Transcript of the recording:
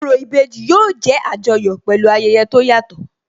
Orò ìbejì yóò jẹ́ Àjọyọ̀ pẹ̀lú ayẹyẹ tó yàtọ̀